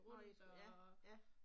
Når I, ja, ja